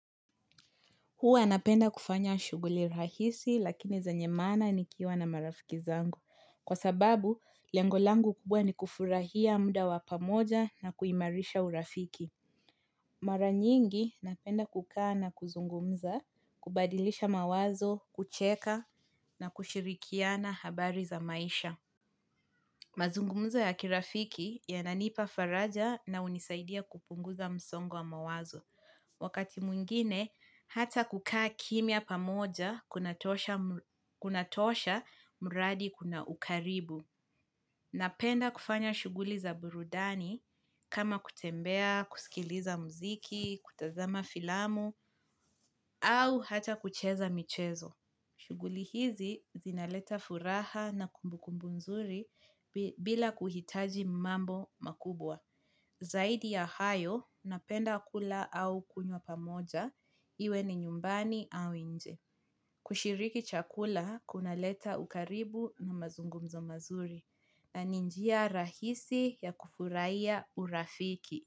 Huwa napenda kufanya shughuli rahisi lakini zenyemaana nikiwa na marafiki zangu. Kwa sababu, lengolangu kubwa ni kufurahia muda wapamoja na kuimarisha urafiki. Maranyingi napenda kukaa na kuzungumza, kubadilisha mawazo, kucheka na kushirikiana habari za maisha. Mazungumza ya kirafiki ya nanipa faraja na unisaidia kupunguza msongo wa mawazo. Wakati mwingine, hata kukaa kimya pamoja kunatosha muradi kuna ukaribu. Napenda kufanya shughuli za burudani kama kutembea, kusikiliza mziki, kutazama filamu, au hata kucheza michezo. Shughuli hizi zinaleta furaha na kumbukumbu nzuri bila kuhitaji mambo makubwa. Zaidi ya hayo, napenda kula au kunywa pamoja, iwe ni nyumbani au nje. Kushiriki chakula, kuna leta ukaribu na mazungumzo mazuri. Na ninjia rahisi ya kufurahiya urafiki.